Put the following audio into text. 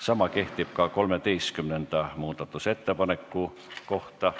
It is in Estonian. Sama kehtib ka 13. muudatusettepaneku kohta.